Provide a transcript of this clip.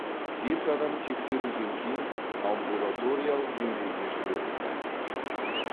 бес адам тексеруден кейін амбулаториялық емдеуге жіберілді